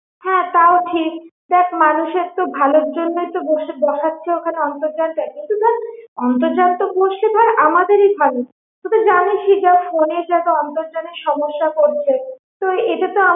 হা তাও ঠিক দ্যাখ মানুষের তো ভালোর জন্য তো ওখানে বসে~ বসাচ্ছে ওখানে অন্তর্জালটা কিন্তু দ্যাখ অন্তর্জাল তো বসলে ভাল আমাদের এ ভালো তুই তো জানিস যা phone এর যা অন্তর্জালের সমস্যা করছে, তো এটা তো